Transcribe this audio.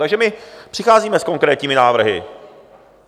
Takže my přicházíme s konkrétními návrhy.